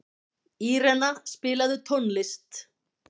Írena, spilaðu tónlist.